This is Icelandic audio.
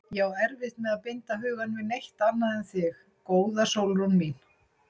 Ég á erfitt með að binda hugann við neitt annað en þig, góða Sólrún mín.